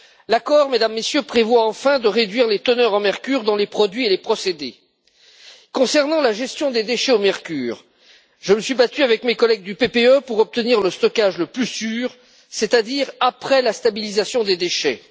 L'accord prévoit, enfin, de réduire les teneurs en mercure dans les produits et les procédés. En ce qui concerne la gestion des déchets au mercure, je me suis battu avec mes collègues du PPE pour obtenir le stockage le plus sûr, c'est à dire après la stabilisation des déchets.